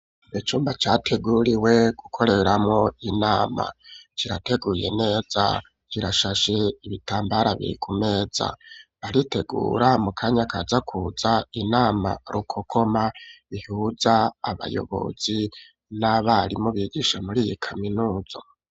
Icumba categuriwe gukoreramwo inama kirateguye neza kirashashe, ibitambara biri kumeza, baritegura mu kanya kazakuza inama rukokoma bihuza abayobozi n'abarimu bigisha muri iyi kaminuza.